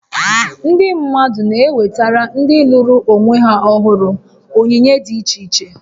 Ndị mmadụ na-ewetara ndị lụrụ onwe ha ọhụrụ onyinye dị iche iche